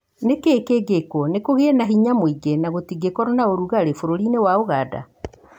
Nĩ kĩĩ kĩngĩkwo nĩ kũgĩe na hinya mũingĩ na gũtigskorũo na ũrugarĩ bũrũri-ĩni wa Ũganda?